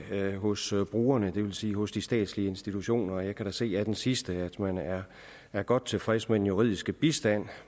hos brugerne det vil sige hos de statslige institutioner og jeg kan da se af den sidste at man er er godt tilfreds med den juridiske bistand